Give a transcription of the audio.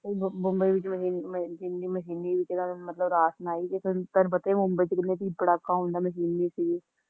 ਬੰਬਈ ਚ ਤੁਹਾਨੁੰ ਪਤਾ ਹੀ ਹੈ ਕੀ ਬੰਬਈ ਚ ਕਿੰਨਾ ਭੀੜ ਭੜੱਕਾ ਹੁੰਦਾ ਹੈਗਾ